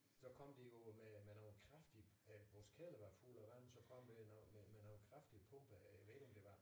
Så kom de jo med med nogle kraftige øh vores kælder var fuld af vand så kom øh nogen men nogle kraftige pumper jeg ved ikke om det var